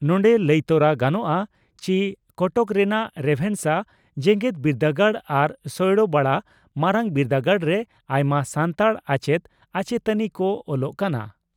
ᱱᱚᱰᱮ ᱞᱟᱹᱭᱛᱚᱨᱟ ᱜᱟᱱᱚᱜᱼᱟ ᱪᱤ ᱠᱚᱴᱚᱠ ᱨᱮᱱᱟᱜ ᱨᱮᱵᱷᱮᱱᱥᱟ ᱡᱮᱜᱮᱛ ᱵᱤᱨᱫᱟᱹᱜᱟᱲ ᱟᱨ ᱥᱚᱭᱲᱟᱵᱟᱲᱟ ᱢᱟᱨᱟᱝ ᱵᱤᱨᱫᱟᱹᱜᱟᱲᱨᱮ ᱟᱭᱢᱟ ᱥᱟᱱᱛᱟᱲ ᱟᱪᱮᱛ ᱟᱪᱮᱛᱟᱹᱱᱤ ᱠᱚ ᱚᱞᱚᱜ ᱠᱟᱱᱟ ᱾